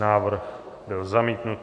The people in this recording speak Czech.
Návrh byl zamítnut.